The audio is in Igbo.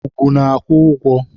Ugwu na-akwụ ụgwọ.